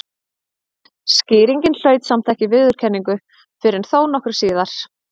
Skýringin hlaut samt ekki viðurkenningu fyrr en þó nokkru síðar.